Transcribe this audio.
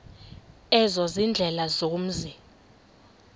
ezo ziindlela zomzi